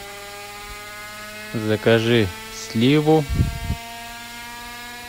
закажи сливу